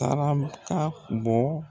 Tarabe ka bɔ